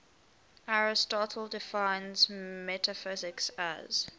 aristotle defines metaphysics as